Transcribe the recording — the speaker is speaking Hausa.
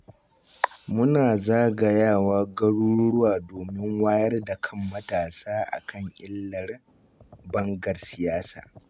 Muna zagayawa garuruwa domin wayar da kan matasa a kan illar bangar siyasa